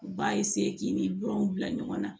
U b'a k'i ni bɔrɔw bila ɲɔgɔn na